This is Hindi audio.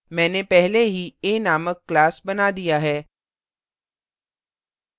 मैंने पहले ही a named class बना दिया है